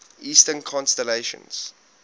eastern constellations